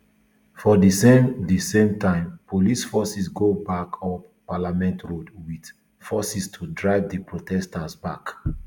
for di same di same time police officers go back up parliament road wit force to drive di protesters back